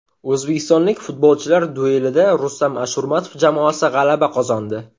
O‘zbekistonlik futbolchilar duelida Rustam Ashurmatov jamoasi g‘alaba qozondi.